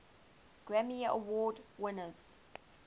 grammy award winners